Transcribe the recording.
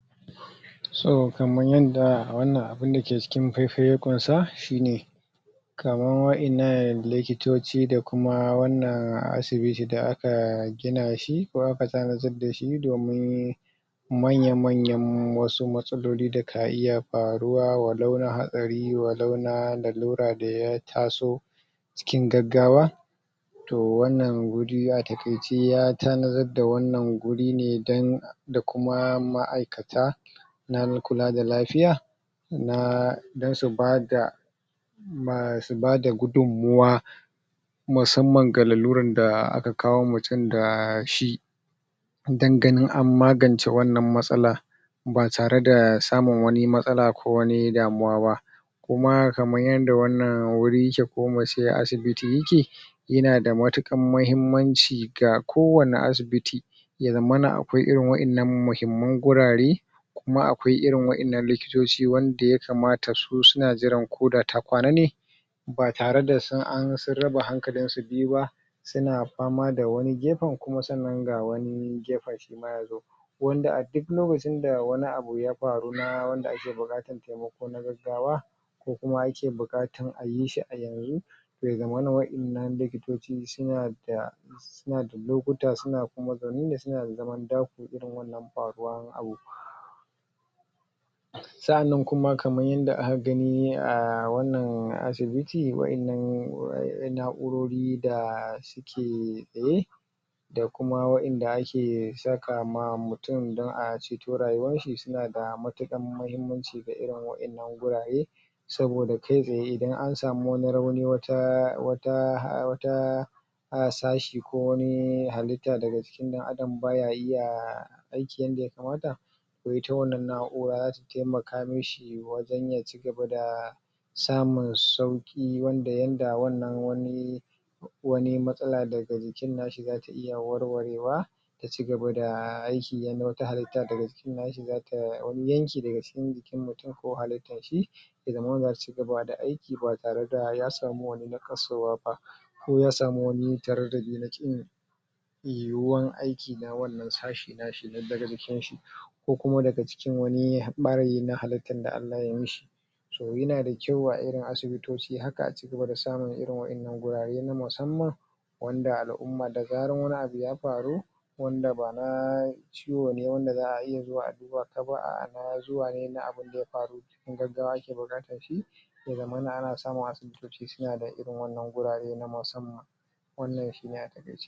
so kaman yanda wannan abu na cikin fai fai ya ƙwansa shine kaman wa'ennan likitoci da kuma wannan asibita da aka gina shi ko aka tanadar dashi domin manyan manyan wasu matsalaoli da ka iya faruwa wa lau la hatsari wa lau la lallura da ya taso cikin gaggawa toh wannan wuri a takaice ya tanadar da wannan guri ne dan da kuma ma aikata na kula da lafiya na dan su bada su bada gudunmuwa musamman ga lalluran da aka kawo mutum da shi dan ganin an magance wannan matsala ba tare da samun wani matsala ba kowani damuwa ba kuma kaman yanda wannan wuri yake ko muce asibiti yake yana da matuƙar mahimmanci ga kowani asibiti ke zammana akwai irin wa'ennan mahimman gurare in ma akwai irin wa'ennan likitoci wanda yakamata su suna jiran do da ta kwana ne ba tare da sun raba hankalin su biyu ba suna fama da wani gefen kuma sannan ga wani gefen kuma wanda a duk lokaci da wani abu ya faru na wanda ake bukatan abu ko na gaggawa ko kuma yake bukatan ayi shi zai gama da wa'ennan likitoci suna da suna da lokuta kuma suna zaune ne sauna da zaman irin wannan faruwan abu sa'anan kuma kaman yadda aka gani a wannan asibiti wa'ennan na'urori da ke tsaye da kuma wa'enn da ake saka ma mutum dan a ceto rayuwan shi suna da matukar mahimmanci da irin wa'ennan gurare saboda kai tsaye idan an samu wani rauni wata sashi ko wani halitta daga shin dan adam baya iya aiki yanda ya kamata toh ita wannan na'ura zata taimaka mishi wajen ya cigaba da samun sauki wanda yanda wannan wani wani matsala daga jikin nashi zata iya warware wa ya cigaba da aiki yanda wata halitta daga jikin nashi wani yanki daga jikin mutum ko halittan shi da zata cigaba da aiki ba tare da ya samu wani ba ko ya samu wani tare da zai yiyuwan wan aiki na sashin nashi daga jikin shi ko kuma daga cikin wani ɓariyi na halttan da Allah ya yi shi toh yana da kyau a irin asibitoci haka su cigaba da samun irin wa'ennan gurare musamman wanda alumma da zaran wani abu ya faru wanda ba na ciwo ne wanda za'a iya zuwa a duba ka ba na zuwa ne na abun da ya faru kuma yanda ake bukatan shi ya zamana ana samu fitina da gurare irin wannan gurare na wannan shine haka